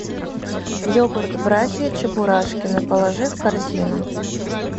йогурт братья чебурашкины положи в корзину